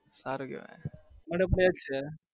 સારું કેવાય મતબલ એજ છે